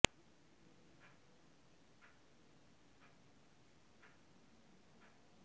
নোয়াখালীর সুধারামের পূর্ব শুল্ল্যকিয়া গ্রামে সিএনজি চুরির মামলার জের ধরে প্রতিপক্ষের সন্ত্রাসী হামলায় নার